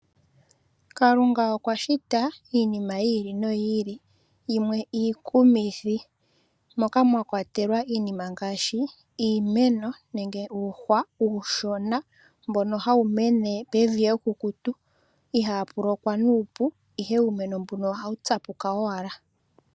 Kalunga okwa shita iinima yiili noyiili yimwe iikumithi, moka mwakwatelwa iinima ngaashi iimeno nenge uuhwa uushona mbono hawu mene pevi ekukutu ihaa pulokwa nuupo ihe uumeno mbuno ohawu tsapuka owala.